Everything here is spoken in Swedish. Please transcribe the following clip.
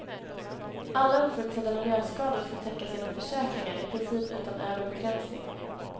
Alla oförutsedda miljöskador skall täckas genom försäkringar, i princip utan övre begränsning.